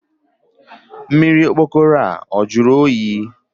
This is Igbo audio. Mmiri okpokoro a jụrụ oyi?